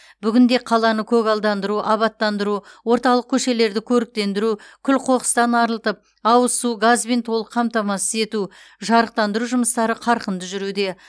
бүгінде қаланы көгалдандыру абаттандыру орталық көшелерді көріктендіру күл қоқыстан арылтып ауыз су газбен толық қамтамасыз ету жарықтандыру жұмыстары қарқынды жүруде